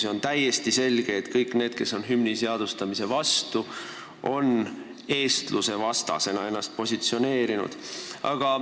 Ja on täiesti selge, et kõik need, kes on hümni seadustamise vastu, on ennast ka eestluse vastasena positsioneerinud.